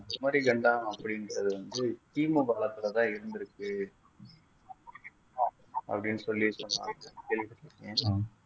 குமரிக்கண்டம் அப்படின்றது வந்து கிமு காலத்தில் தான் இருந்திருக்கு அப்படின்னு சொல்லி சொன்னாங்க கேள்விப்பட்டிருக்கேன்